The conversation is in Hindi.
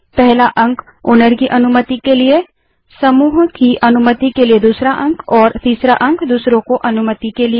पहला अंक मालिक की अनुमति के लिए है दूसरा अंक समूह की अनुमति के लिए है और तीसरा अंक दूसरों की अनुमति के लिए है